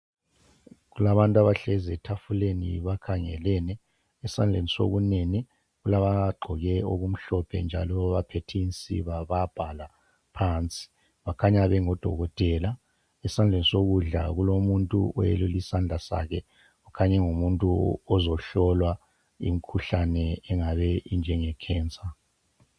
Kulabantu abahlezi etafuleni bakhangelene. Esandleni sokunene kulabagqoke okumhlophe njalo baphethe insiba bayabhala phansi. Bakhanya bengodokotela. Esandleni sokudla kulomuntu oyelule isandla sakhe ukhanya engumuntu ozohlolwa imkhuhlane engabe injengekhensa.